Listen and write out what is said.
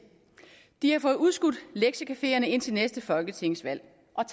de har fået udskudt lektiecafeerne indtil næste folketingsvalg